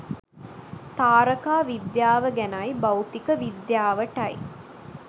තාරකා විද්‍යාව ගැනයි භෞතික විද්‍යාවටයි